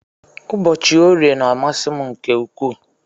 Ụbọchi orie na amasi mu nke ukwu.